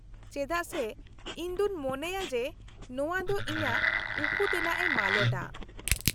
-ᱪᱮᱫᱟᱜ ᱥᱮ ᱤᱧ ᱫᱚᱹᱧ ᱢᱚᱱᱮᱭᱟ ᱡᱮ ᱱᱚᱣᱟ ᱫᱚ ᱤᱧᱟᱹᱜ ᱩᱠᱩᱛᱮᱱᱟᱜᱼᱮ ᱢᱟᱞᱚᱴᱟ ᱾